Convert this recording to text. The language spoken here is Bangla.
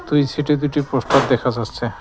প্রিন্টশিটে দুটি পোস্টার দেখা যাচ্ছে।